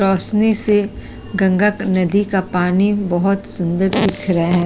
रोशनी से गंगा का नदी का पानी बहोत सुंदर दिख रहे है।